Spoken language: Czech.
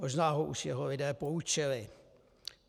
Možná ho už jeho lidé poučili.